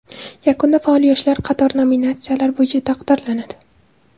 Yakunda faol yoshlar qator nominatsiyalar bo‘yicha taqdirlanadi.